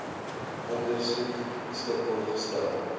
ondersoek beskikbaar gestel